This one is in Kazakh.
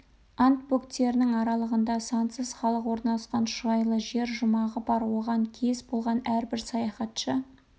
анд бөктерінің аралығында сансыз халық орналасқан шұрайлы жер жұмағы бар оған кез болған әрбір саяхатшы